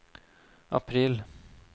april